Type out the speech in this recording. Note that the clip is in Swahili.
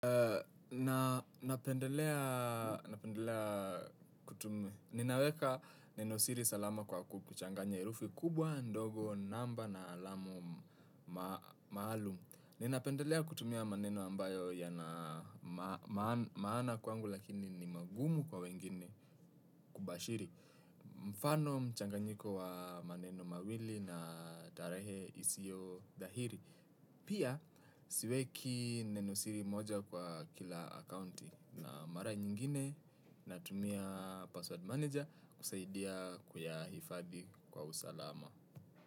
Nachanganya herufi kubwa, ndogo namba na alama maalum napendelea kutumia maneno ambayo yana maana kwangu lakini ni magumu kwa wengine kubashiri. Mfano mchanganyiko wa maneno mawili na tarehe isiyo dhahiri. Pia siweki neno siri moja kwa kila akaunti na mara nyingine natumia password manager kusaidia kuyahifadi kwa usalama.